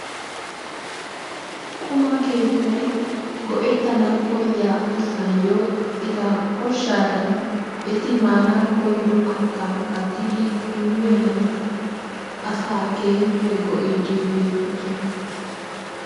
Quma keettay go'ettana koyiya asaayyo eta koshshaadan eti maana koyido kattaa kattidi immiyogan asaa keehippe go'iiddi beettoosona.